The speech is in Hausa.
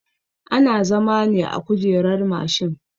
Ana zama ne akan kujerar mashin